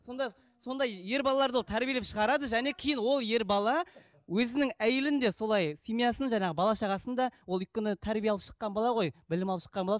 сонда сонда ер балаларды ол тәрбиелеп шығарады және кейін ол ер бала өзінің әйелін де солай семьясын жаңағы бала шағасын да ол өйткені тәрбие алып шыққан бала ғой білім алып шыққан бала